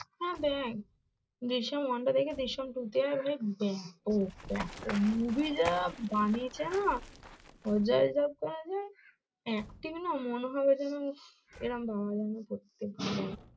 হম দেখ জিসিম ওয়ানটার থেকে জিসিম টু টা ভাই ব্যাপক ব্যাপক movie যা বানিয়েছে না অজয় দেবগনের acting না মনে হবে যেন এরম ভাবা যায় না করতে